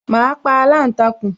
Ma pa aláǹtakùn